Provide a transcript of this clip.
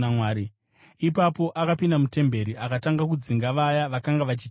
Ipapo akapinda mutemberi akatanga kudzinga vaya vakanga vachitengesa.